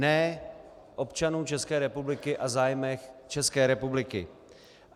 Ne občanů České republiky a zájmech České republiky.